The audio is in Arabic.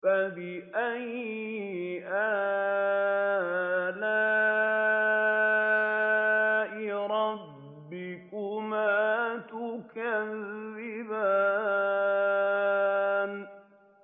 فَبِأَيِّ آلَاءِ رَبِّكُمَا تُكَذِّبَانِ